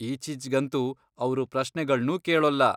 ಈಚೀಚ್ಗಂತೂ ಅವ್ರು ಪ್ರಶ್ನೆಗಳ್ನೂ ಕೇಳೋಲ್ಲ.